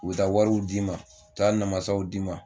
U bɛ taa wariw d'i ma, taa namasaw d'i ma,